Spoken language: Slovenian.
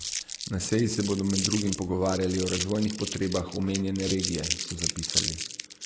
Na seji se bodo med drugim pogovarjali o razvojnih potrebah omenjene regije, so zapisali.